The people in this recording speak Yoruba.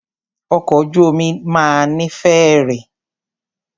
Ọkọ̀ ojú omi máà ní fèèrè.